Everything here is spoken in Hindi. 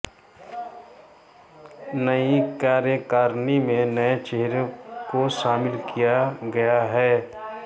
नई कार्यकारिणी में नए चेहरों को शामिल किया गया है